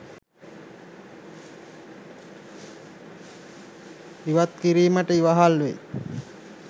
ඉවත් කිරීමට ඉවහල් වෙයි.